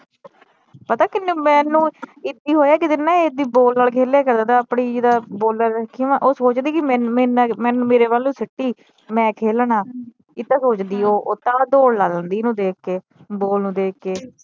ਪਤਾ ਕਿੰਨੀ ਮੈਨੂੰ ਕੀ ਹੋਇਆ ਇਕ ਦਿਨ ਨਾ ਇਹ ਏਦਾਂ ਈ ਬਾਲ ਨਾਲ ਖੇਲਿਆ ਕਰਦਾ ਥਾ ਆਪਣੀ ਜਿਦਾ ਬਾਲਾ ਰੱਖੀਆ ਵਾ ਉਹ ਸੋਚਦੀ ਕੀ ਮੈਨੂੰ ਮੇਰੇ ਵੱਲ ਸਿਟੀ ਮੈ ਖੇਲਣਾ ਏਦਾਂ ਸੋਚਦੀ ਉਹ ਤਾ ਦੌੜ ਲਾ ਲੈਂਦੀ ਇਹਨੂੰ ਦੇਖ ਕੇ ਬਾਲ ਨੂੰ ਦੇਖ ਕੇ